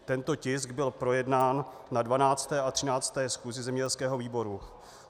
Tento tisk byl projednán na 12. a 13. schůzi zemědělského výboru.